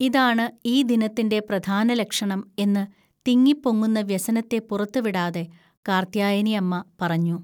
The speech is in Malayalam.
ഇതാണ് ഈ ദിനത്തിൻ്റെ പ്രധാനലക്ഷണം എന്ന് തിങ്ങിപ്പൊങ്ങുന്ന വ്യസനത്തെ പുറത്തുവിടാതെ കാർത്യായനിഅമ്മ പറഞ്ഞു.